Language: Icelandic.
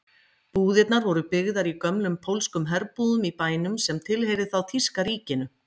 Búðirnar voru byggðar í gömlum pólskum herbúðum í bænum sem tilheyrði þá þýska ríkinu.